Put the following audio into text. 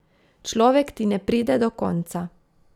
Človek ti ne pride do konca.